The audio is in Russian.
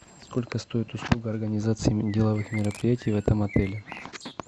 сколько стоит услуга организации деловых мероприятий в этом отеле